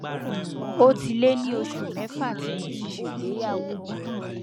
ó ti lé ní oṣù mẹfà tí mo ti ṣègbéyàwó